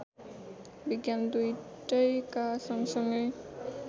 विज्ञान दुईटैका सँगसँगै